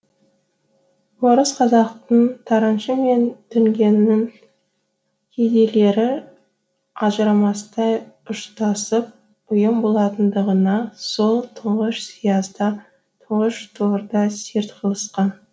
орыс қазақтың тараншы мен дүңгеннің кедейлері ажырамастай ұштасып ұйым болатындығына сол тұңғыш сиязда тұңғыш торда серт қылысқан